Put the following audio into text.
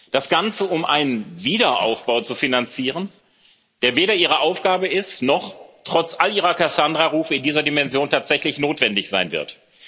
Das Ganze, um einen Wiederaufbau zu finanzieren, der weder Ihre Aufgabe ist, noch trotz all Ihrer Kassandrarufe in dieser Dimension tatsächlich notwendig sein wird.